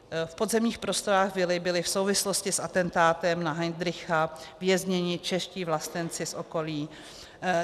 V podzemních prostorách vily byly v souvislosti s atentátem na Heydricha vězněni čeští vlastenci z okolí.